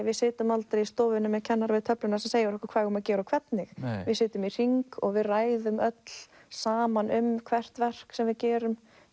við sitjum aldrei í stofunni með kennara við töfluna sem segir okkur hvað við eigum að gera og hvernig við sitjum í hring og við ræðum öll saman um hvert verk sem við gerum